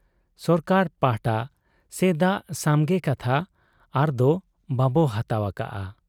ᱥᱚᱨᱠᱟᱨ ᱯᱟᱦᱴᱟ ᱥᱮᱫᱟᱜ ᱥᱟᱢᱜᱮ ᱠᱟᱛᱷᱟ ᱟᱨᱫᱚ ᱵᱟᱵᱚ ᱦᱟᱛᱟᱣ ᱟᱠᱟᱜ ᱟ ᱾